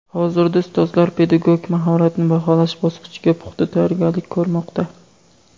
Hozirda ustozlar pedagogik mahoratni baholash bosqichiga puxta tayyorgarlik ko‘rmoqda.